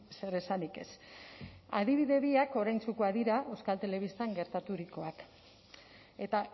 zer esanik ez adibide biak oraintsukoak dira euskal telebistan gertaturikoak eta